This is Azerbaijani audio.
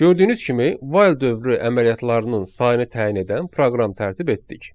Gördüyünüz kimi, while dövrü əməliyyatlarının sayını təyin edən proqram tərtib etdik.